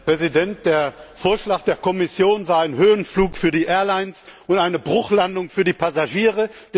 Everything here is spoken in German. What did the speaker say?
Herr Präsident! Der Vorschlag der Kommission war ein Höhenflug für die Airlines und eine Bruchlandung für die Passagiere.